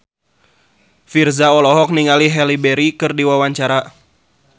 Virzha olohok ningali Halle Berry keur diwawancara